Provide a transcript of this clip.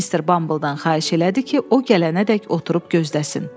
Missis Bumble-dan xahiş elədi ki, o gələnədək oturub gözləsin.